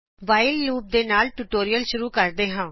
whileਲੂਪ ਦੇ ਨਾਲ ਟਯੂਟੋਰਿਅਲ ਸ਼ੂਰੁ ਕਰੋ